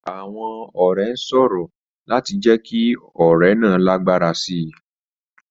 Àwọn ọ̀rẹ́ ń sọ̀rọ̀ láti jẹ́ kí ọ̀rẹ́ náà lágbára sí i.